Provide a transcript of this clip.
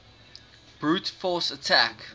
brute force attack